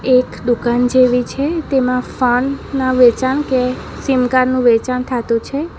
એક દુકાન જેવી છે તેમાં ફોન ના વેચાણ કે સીમકાર્ડ નું વેચાણ થાતું છે.